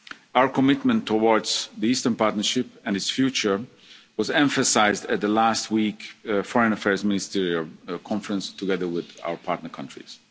adopted in March. Our commitment towards the Eastern Partnership and its future was emphasised at last week's Foreign Affairs Ministerial Conference, together with our